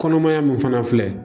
Kɔnɔmaya min fana filɛ